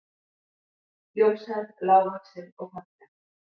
Ljóshærð, lágvaxin og falleg